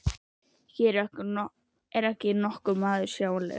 En hér er ekki nokkur maður sjáanlegur.